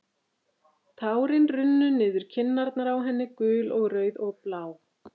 Tárin runnu niður kinnarnar á henni, gul og rauð og blá.